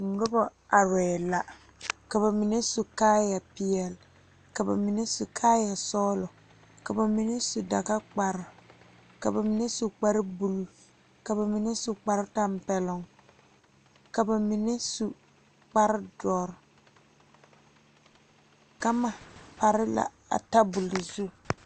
Nobɔ arɛɛ la ka ba mine su kaayɛ peɛle ka ba mine su kaayɛ sɔglɔ ka ba mine su dagakpare ka ba mine su kpare bluu ka ba mine su kpare tampɛloŋ ka ba mine su kpare dɔre gama pare la a tabole zu.